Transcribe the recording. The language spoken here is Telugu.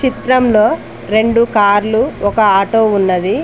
చిత్రంలో రెండు కార్లు ఒక ఆటో ఉన్నది.